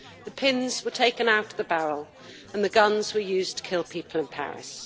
The pins were taken out of the barrel and the guns were used to kill people in Paris.